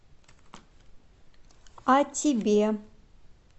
о тебе